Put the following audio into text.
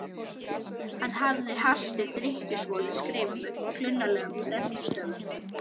hann hafði halti drykkjusvolinn skrifað með klunnalegum prentstöfum